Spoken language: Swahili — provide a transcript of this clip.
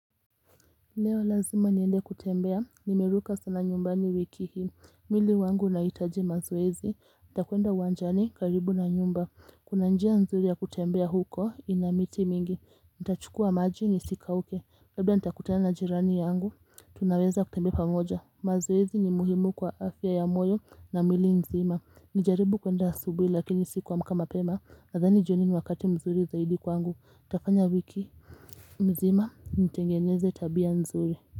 Leo lazima niende kutembea, nimeruka sana nyumbani wiki hii, mwili wangu unahitaji mazoezi, nitakwenda uwanjani karibu na nyumba, kuna njia nzuri ya kutembea huko inamiti mingi, nitachukua maji ni sika uke, labda nitakutana na jirani yangu, tunaweza kutembea pamoja, mazoezi ni muhimu kwa afya ya moyo na miili nzima, nijaribu kuenda asubuhi lakini siku amka mapema, nadhani jioni ni wakati mzuri zaidi kwangu, nitafanya wiki, mzima, nitengeneze tabia nzuri.